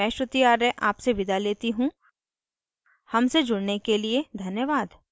I I T Bombay से मैं श्रुति आर्य आपसे विदा लेती हूँ हमसे जुड़ने के लिए धन्यवाद